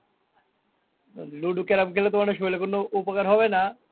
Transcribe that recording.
তো ludo carrom খেললে তো মানে শরীরে কোনো উপকার হবে না।